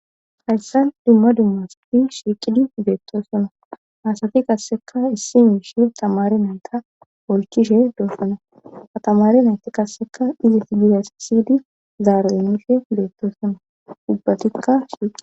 Hayssa dumma dummas pi shiiqidi beetto sona haasafi qasseka issi miishe tamare nayta olchishe doofona atamare nayta qasseka dizi t gizas siydi zaarueife beetto sona dubbatikka shiiqi.